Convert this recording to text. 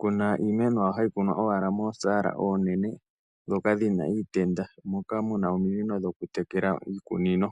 kuna iimeno. Oyo hayi kunwa owala moosala oonene dhoka dhina iitenda. Moka muna ominino dhoku tekela iikunino.